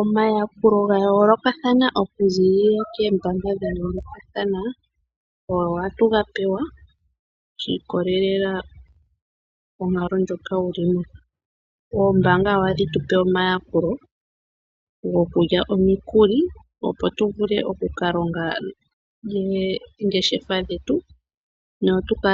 Omayakulo ga yoolokathana okuza kombaanga dha yoolokathana ohatu ga pewa shi ikwatelela konkalo ndjoka wuli mo. Ombaanga ohadhi tupe omayakulo gokulya omikuli opo tu vule oku ka longa oongeshefa dhetu noku ka